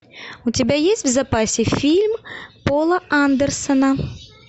у тебя есть в запасе фильм пола андерсона